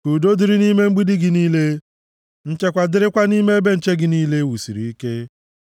Ka udo dịrị nʼime mgbidi gị niile nchekwa dịrịkwa nʼime ebe nche gị niile e wusiri ike.”